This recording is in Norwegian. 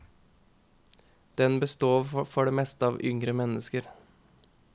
Den består for det meste av yngre mennesker.